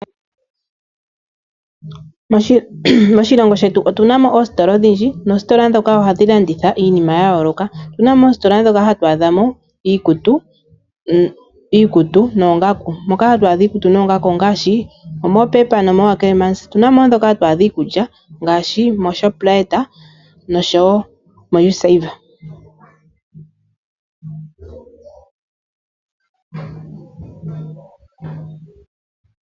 Moshilongo shetu otunamo oositola odhindji noositola ndhoka ohadhi landitha iinima ya yooloka . Otunamo oositola moka hatu adha iikutu noongaku moka hatu adha iikutu ongaashi Pep na Ackermans. Otunamo woo ndhoka hatu adha iikulya ngaashi Shoprite no Usave.